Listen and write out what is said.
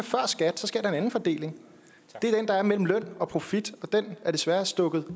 at en anden fordeling det er den der er mellem løn og profit og den er desværre stukket